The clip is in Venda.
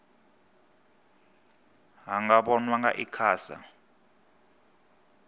ha nga vhonwa nga icasa